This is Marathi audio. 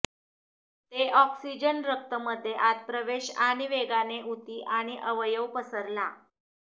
ते ऑक्सिजन रक्त मध्ये आत प्रवेश आणि वेगाने उती आणि अवयव पसरला